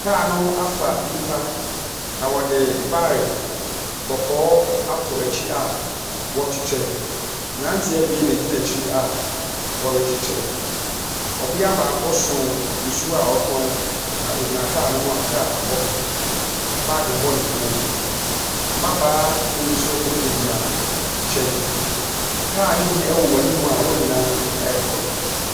Kaa no afa nnipa, na wɔde baeke kɔkɔɔ ato akyi a wɔrekyekyere, mmeranteɛ abien na ɛgyina akyire a wɔrekyekyere. Ɔbaa baako nso so nsuo ɔretɔn na ogyina kaa ne ho a kaa bɔ baage bɔ ne kɔn mu. Mmabaawa bi nso gyinagyina nkyɛn. kaa ne bi wɔ anim a wɔn nyinaa ɛrekɔ.